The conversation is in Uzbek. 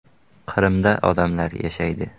Qrimda odamlar yashaydi.